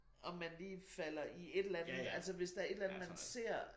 Om man lige falder i et eller andet altså hvis der et eller andet man ser